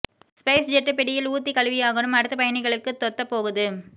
spice jet பிடியில் ஊத்தி கழுவியாகனும் அடுத்த பயணிகளுக்கு தொத்த போகுது